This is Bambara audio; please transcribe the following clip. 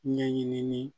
Ɲɛɲinili